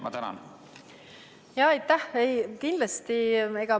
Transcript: Aitäh!